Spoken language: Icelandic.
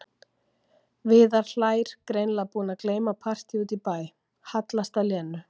Viðar hlær, greinilega búinn að gleyma partíi úti í bæ, hallast að Lenu.